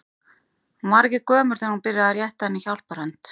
Hún var ekki gömul þegar hún byrjaði að rétta henni hjálparhönd.